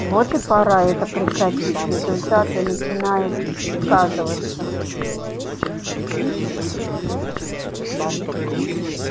вот и пора это прекратить результаты начинают сказываться